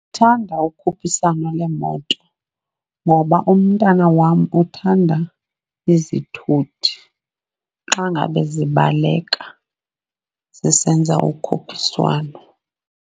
Ndithanda ukukhuphiswano lweemoto, ngoba umntana wam uthanda izithuthi xa ngabe zibaleka zisenza ukhuphiswano.